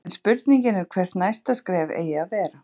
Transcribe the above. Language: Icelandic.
En spurningin er hvert næsta skref eigi að vera?